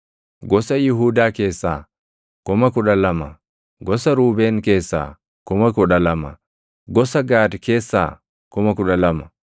Gosa Yihuudaa keessaa 12,000, gosa Ruubeen keessaa 12,000, gosa Gaad keessaa 12,000,